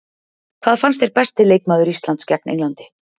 Hver fannst þér besti leikmaður Íslands gegn Englandi?